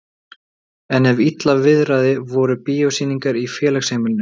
En ef illa viðraði voru bíósýningar í félagsheimilinu.